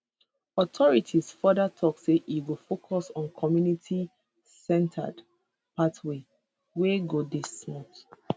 authorities further tok say e go focus on communitycentered pathways wey go dey smooth